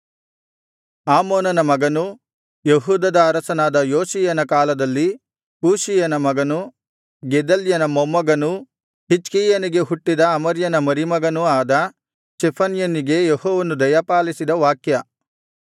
ಆಮೋನನ ಮಗನೂ ಯೆಹೂದದ ಅರಸನಾದ ಯೋಷೀಯನ ಕಾಲದಲ್ಲಿ ಕೂಷಿಯನ ಮಗನೂ ಗೆದಲ್ಯನ ಮೊಮ್ಮಗನೂ ಹಿಜ್ಕೀಯನಿಗೆ ಹುಟ್ಟಿದ ಅಮರ್ಯನ ಮರಿಮಗನೂ ಆದ ಚೆಫನ್ಯನಿಗೆ ಯೆಹೋವನು ದಯಪಾಲಿಸಿದ ವಾಕ್ಯ